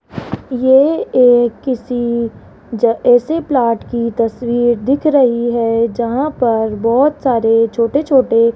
ये एक किसी ज ऐसे प्लॉट की तस्वीर दिख रही है जहां पर बहोत सारे छोटे छोटे --